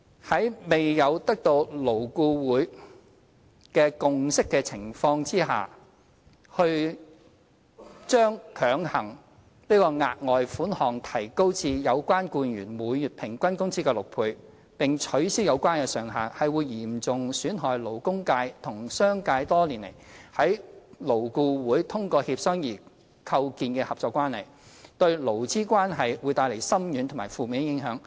在未有得到勞顧會共識的情況下，強行把額外款項提高至有關僱員每月平均工資的6倍，並取消有關上限，會嚴重損害勞工界和商界多年來在勞顧會通過協商而構建的合作關係，對勞資關係會帶來深遠及負面的影響。